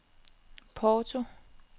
Porto